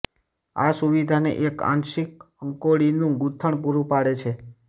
આ સુવિધાને એક આંશિક અંકોડીનું ગૂથણ પૂરું પાડે છે